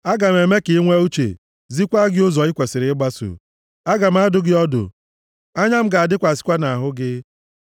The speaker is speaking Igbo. Aga m eme ka ị nwee uche, zikwa gị ụzọ i kwesiri ịgbaso; Aga m adụ gị ọdụ, anya m ga-adịkwasịkwa nʼahụ gị.